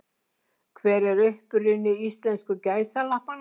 Hver er uppruni íslensku gæsalappanna?